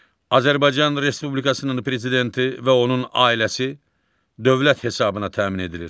Azərbaycan Respublikasının prezidenti və onun ailəsi dövlət hesabına təmin edilir.